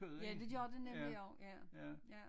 Ja det gjorde det nemlig også ja ja